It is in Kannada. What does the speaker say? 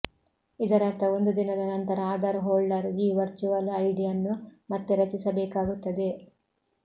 ಇದರರ್ಥ ಒಂದು ದಿನದ ನಂತರ ಆಧಾರ್ ಹೋಲ್ಡರ್ ಈ ವರ್ಚುವಲ್ ಐಡಿ ಅನ್ನು ಮತ್ತೆ ರಚಿಸಬೇಕಾಗುತ್ತದೆ